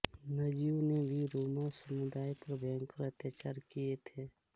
नाजियों ने भी रोमा समुदाय पर भयंकर अत्याचार किए थे